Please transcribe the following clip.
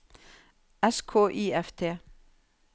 S K I F T